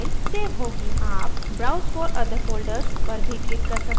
आप browse for other folders पर भी click कर सकते हैं